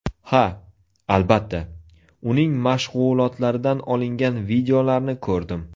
Ha, albatta, uning mashg‘ulotlaridan olingan videolarni ko‘rdim.